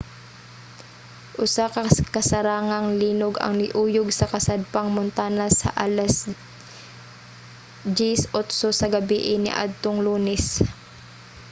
usa ka kasarangang linog ang niuyog sa kasadpang montana sa alas 10:08 sa gabii niadtong lunes